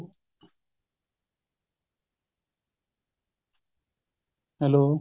hello